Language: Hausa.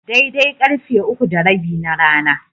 Daidai karfe uku da rabi na rana.